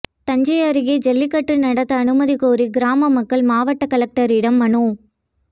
தஞ்சை அருகே ஜல்லிக்கட்டு நடத்த அனுமதி கோரி கிராம மக்கள் மாவட்ட கலெக்டரிடம் மனு